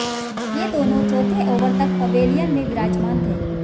ये दोनों चौथे ओवर तक पवेलियन में विराजमान थे